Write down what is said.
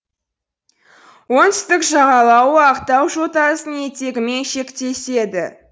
оңтүстік жағалауы ақтау жотасының етегімен шектеседі